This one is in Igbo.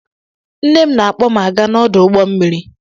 Nne m na-akpọ m aga n'ọdụ Ụgbọ mmiri.